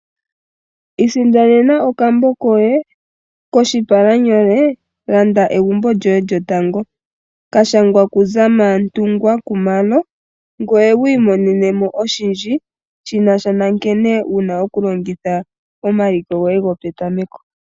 Isindanena okambo koye koshipalanyolo landa egumbo lyoye lyotango kashangwa ku Zamantungwa khumalo ,ngoye wi imonenemo oshindji shinasha nonkene wuna okulongitha omaliko goye go petameko.